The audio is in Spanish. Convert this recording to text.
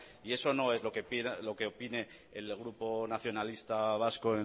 y eso no es lo que opine el grupo nacionalista vasco